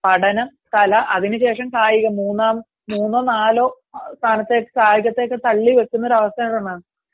പഠനം, കല, അതിനുശേഷം കായികം ,മൂന്നോ നാലോ സ്ഥാനത്തേക്ക് കായികത്തെ തള്ളി വെക്കുന്ന ഒരവസ്ഥയാണ്